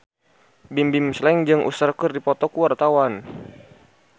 Bimbim Slank jeung Usher keur dipoto ku wartawan